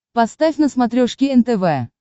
поставь на смотрешке нтв